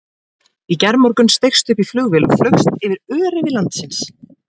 Í gærmorgun steigstu upp í flugvél og flaugst yfir öræfi landsins.